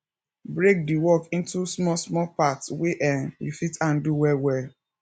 break di work into small small part wey um you fit handle well well